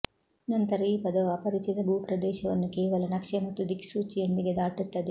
ನಂತರ ಈ ಪದವು ಅಪರಿಚಿತ ಭೂಪ್ರದೇಶವನ್ನು ಕೇವಲ ನಕ್ಷೆ ಮತ್ತು ದಿಕ್ಸೂಚಿಯೊಂದಿಗೆ ದಾಟುತ್ತದೆ